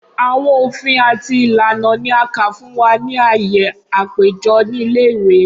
Awọn ofin ati ilana ni a ka fun wa ni aaye apejọ ni ile-iwe.